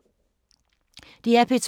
DR P2